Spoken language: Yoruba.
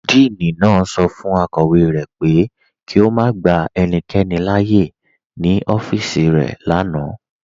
Díìní naá sọ fun akọwe rẹ pé kí o má gbà ènìkẹ́ni láàyè ní ọfíìsì rẹ lánà.